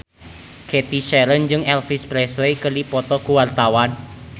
Cathy Sharon jeung Elvis Presley keur dipoto ku wartawan